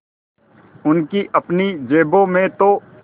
उनकी अपनी जेबों में तो